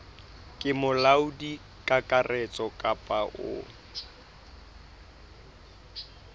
ke molaodi kakaretso kapa o